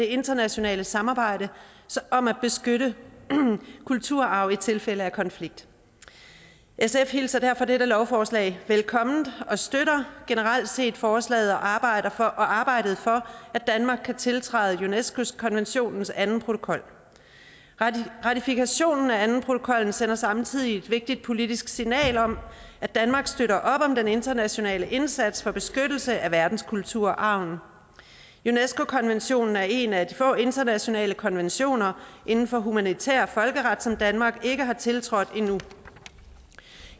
internationale samarbejde om at beskytte kulturarv i tilfælde af konflikt sf hilser derfor dette lovforslag velkommen og støtter generelt set forslaget og arbejdet og arbejdet for at danmark kan tiltræde unesco konventionens anden protokol ratifikationen af andenprotokollen sender samtidig et vigtigt politisk signal om at danmark støtter op om den internationale indsats for beskyttelse af verdenskulturarven unesco konventionen er en af de få internationale konventioner inden for humanitær folkeret som danmark ikke har tiltrådt endnu